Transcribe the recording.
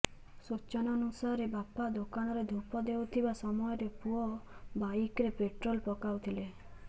ସୂଚନାନୂସାରେ ବାପା ଦୋକାନରେ ଧୂପ ଦେଉଥିବା ସମୟରେ ପୁଅ ବାଇକରେ ପେଟ୍ରୋଲ ପକାଉଥିଲେ